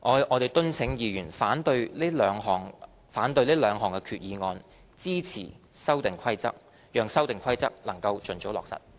我們敦請議員反對這兩項決議案，支持《修訂規則》，讓《修訂規則》能盡早落實。